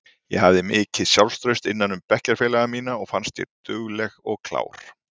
Ég hafði mikið sjálfstraust innan um bekkjarfélaga mína og fannst ég dugleg og klár.